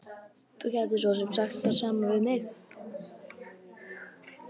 Þú gætir svo sem sagt það sama við mig.